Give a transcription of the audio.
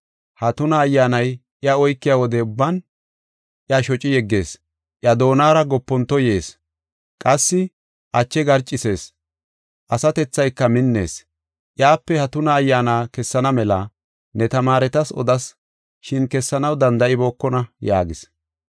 Ha tuna ayyaanay iya oykiya wode ubban, iya shoci yeggees; iya doonara gopontoy yees; qassi ache garcisees; asatethayka minnees. Iyape ha tuna ayyaana kessana mela, ne tamaaretas odas, shin kessanaw danda7ibookona” yaagis.